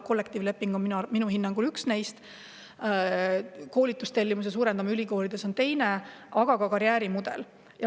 Kollektiivleping on minu hinnangul üks neist, teine on koolitustellimuse suurendamine ülikoolides, aga üks lahendus on ka karjäärimudel.